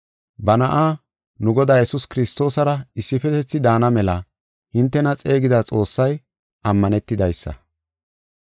Ba Na7a, nu Godaa, Yesuus Kiristoosara issifetethi daana mela hintena xeegida Xoossay ammanetidaysa.